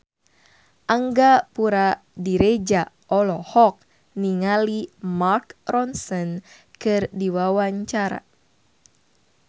Angga Puradiredja olohok ningali Mark Ronson keur diwawancara